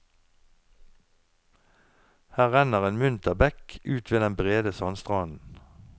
Her renner en munter bekk ut ved den brede sandstranden.